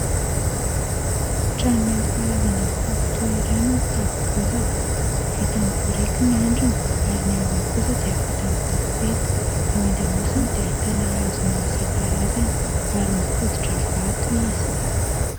Trano nenti-mparazana mifampitohy iray no mitafo bosaka. Vita amin'ny biriky ny andriny ary ny ambiny kosa dia vita amin'ny tofopeta. Ao andamosony dia hitana hazo maro isakarazany ary mifotitra vato izy.